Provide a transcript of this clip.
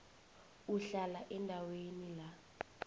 uhlala endaweni la